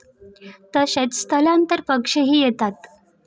तसेच स्थलांतर पक्षीही येतात.